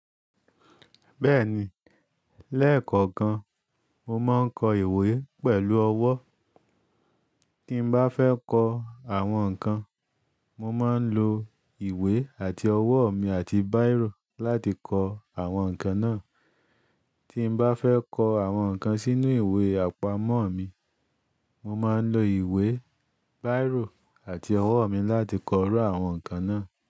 Bẹ́ẹ̀ni, lẹ́ẹ̀kọ̀kan mo máa ń kọ ìwé pẹ̀lú ọwọ́. Tí m bá fẹ́ kọ àwọn nǹkan, mo máa ń lo ìwé àti ọwọ́ mi àti bírò láti kọ àwọn nǹkan náà. Tí m bá fẹ́ kọ àwọn nǹkan sínú ìwé àpamọ́ mi, mo máa ń lo ìwé, bírò àti ọwọ́ mi láti kọ rú àwọn nǹkan náà.